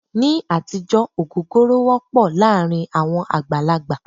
Ní àtijọ́ ògógóró wọ́pọ̀ láàárín àwọn àgbàlagbà.